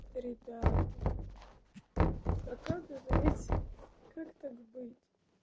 ребята а как это быть как так быть